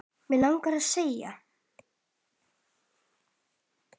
Mig langaði að segja